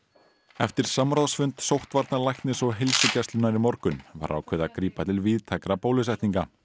eftir samráðsfund sóttvarnalæknis og heilsugæslunnar í morgun var ákveðið að grípa til víðtækra bólusetninga